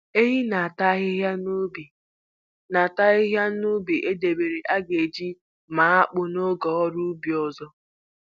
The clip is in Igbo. Ehi ha na-ata ahịhịa n'ubi na-ata ahịhịa n'ubi e debere a ga-eji maa akpụ n'oge ọrụ ubi ọzọ.